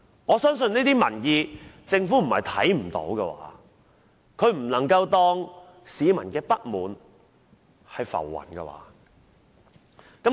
我相信政府不會看不見這些民意，不能把市民的不滿當作浮雲，對嗎？